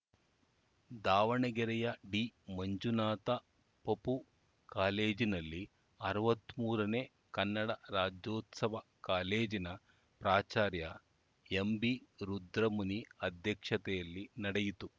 ದಾವಣಗೆರೆಯ ಡಿಮಂಜುನಾಥ ಪಪೂ ಕಾಲೇಜಿನಲ್ಲಿ ಅರವತ್ತ್ ಮೂರನೇ ಕನ್ನಡ ರಾಜ್ಯೋತ್ಸವ ಕಾಲೇಜಿನ ಪ್ರಾಚಾರ್ಯ ಎಂಬಿ ರುದ್ರಮುನಿ ಅಧ್ಯಕ್ಷತೆಯಲ್ಲಿ ನಡೆಯಿತು